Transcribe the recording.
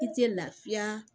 I tɛ lafiya